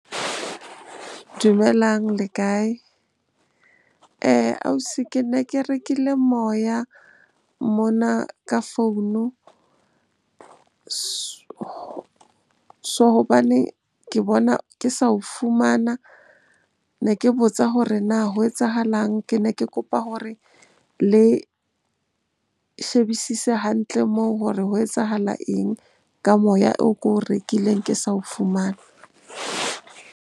Dumelang, le kae? Ausi ke ne ke rekile moya mona ka founu hobane ke bona ke sa o fumana. Ne ke botsa hore na ho etsahalang? Ke ne ke kopa hore le shebisise hantle moo hore ho etsahala eng ka moya oo ko o rekileng ke sa o fumane?